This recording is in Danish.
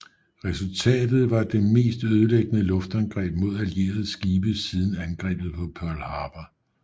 Resultatet var det mest ødelæggende luftangreb mod allierede skibe siden angrebet på Pearl Harbor